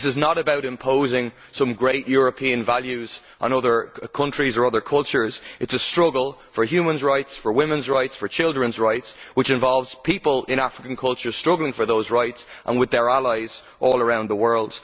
This is not about imposing some great European values on other countries or other cultures, it is a struggle for human rights, for women's rights, for children's rights, which involves people in African cultures struggling for those rights and with their allies all around the world.